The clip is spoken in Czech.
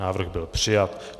Návrh byl přijat.